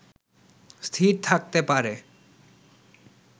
স্থির থাকতে পারে